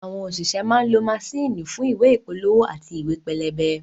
Àwọn òṣìṣẹ́ ń lọ maṣíìnì fún ìwé ìpolówó àti ìwé pẹlẹbẹ